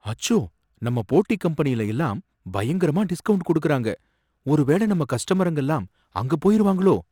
அச்சோ! நம்ம போட்டி கம்பெனில எல்லாம் பயங்கரமா டிஸ்கௌண்ட் கொடுக்கறாங்க, ஒரு வேல நம்ம கஸ்டமருங்க எல்லாம் அங்க போயிருவாங்களோ?